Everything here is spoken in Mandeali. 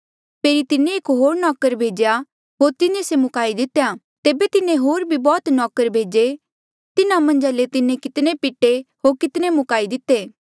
फेरी तिन्हें एक होर नौकर भेज्या होर तिन्हें से मुकाई दितेया तेबे तिन्हें होर भी बौह्त नौकर भेजे तिन्हा मन्झा ले तिन्हें कितने पिटे होर कितने मुकाई दिते